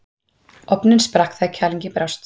Ofninn sprakk þegar kælingin brást.